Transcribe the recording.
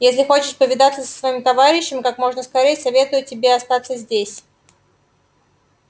если хочешь повидаться со своим товарищем как можно скорее советую тебе остаться здесь